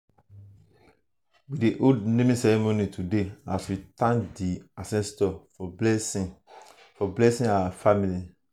we dey hold naming ceremony today as we thank di ancestors for blessing for blessing our family.